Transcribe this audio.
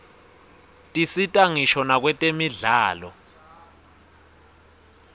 tisita ngisho nakwetemidlalo